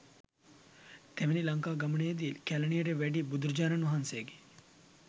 තෙවැනි ලංකා ගමනේදී කැලණියට වැඩි බුදුරජාණන් වහන්සේගේ